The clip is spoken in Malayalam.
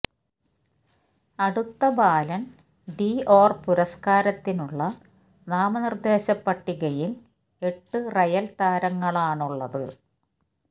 അടുത്ത ബാലൻ ഡി ഒാർ പുരസ്കാരത്തിനുള്ള നാമനിർദേശ പട്ടികയിൽ എട്ട് റയൽ താരങ്ങളാണുള്ളത്